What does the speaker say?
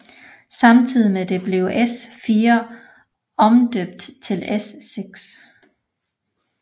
Samtidig med dette blev S4 omdøbt til S6